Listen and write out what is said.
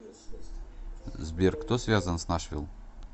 сбер кто связан с нашвилл